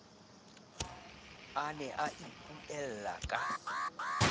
a ne a ipuella ka